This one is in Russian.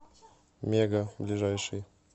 мега ближайший